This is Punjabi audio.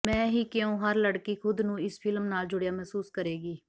ਮੈਂ ਹੀ ਕਿਉਂ ਹਰ ਲੜਕੀ ਖ਼ੁਦ ਨੂੰ ਇਸ ਫ਼ਿਲਮ ਨਾਲ ਜੁੜਿਆ ਮਹਿਸੂਸ ਕਰੇਗੀ